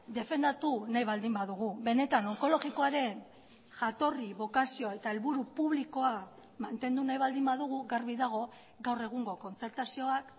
defendatu nahi baldin badugu benetan onkologikoaren jatorri bokazioa eta helburu publikoa mantendu nahi baldin badugu garbi dago gaur egungo kontzertazioak